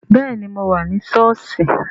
Bẹẹni, mo wà ní sọ́ọ̀sì